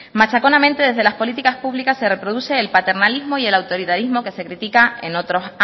machaconamente desde las políticas públicas se reproduce el paternalismo y el autoritarismo que se critica en otros